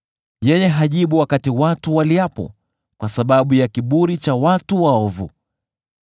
Yeye hajibu wakati watu waliapo kwa sababu ya kiburi cha watu waovu.